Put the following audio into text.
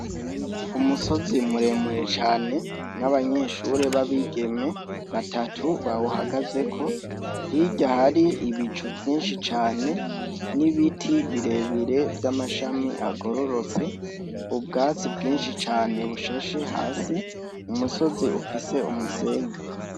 Umusozi muremure cane n'abanyeshure b'abigeme batatu bawuhagazeko hirya hari ibicu vyinshi cane n'ibiti birebire vy'amashami agororotse ubwatsi bwinshi cane bushashe hasi umusozi ufise umusenyi.